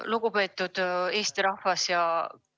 Lugupeetud Eesti rahvas!